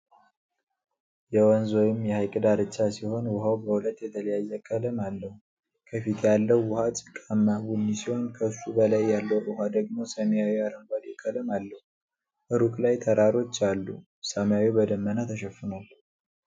የወንዝ ወይም የሐይቅ ዳርቻ ሲሆን፥ ውኃው በሁለት የተለያየ ቀለም አለው። ከፊት ያለው ውኃ ጭቃማ ቡኒ ሲሆን፣ ከሱ በላይ ያለው ውኃ ደግሞ ሰማያዊ አረንጓዴ ቀለም አለው፤ ሩቅ ላይ ተራሮች አሉ፤ ሰማዩ በደመና ተሸፍኗል።